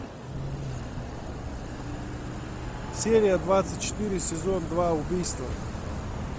серия двадцать четыре сезон два убийство